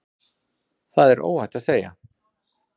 Það er óhætt að segja.